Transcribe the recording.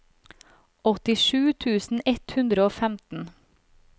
åttisju tusen ett hundre og femten